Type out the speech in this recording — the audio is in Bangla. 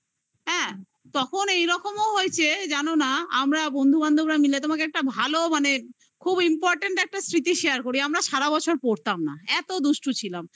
তখন এইরকম ও হয়েছে জানো না আমরা বন্ধুবান্ধবরা মাইল তোমাকে ভালো মানে খুব important একটা স্বৃতি share করি আমরা সারাবছর পরতাম না এত দুষ্টু ছিলাম